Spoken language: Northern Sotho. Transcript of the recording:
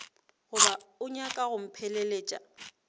goba o nyaka go mpheleletša